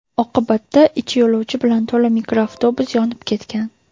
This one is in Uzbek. Oqibatda ichi yo‘lovchi bilan to‘la mikroavtobus yonib ketgan.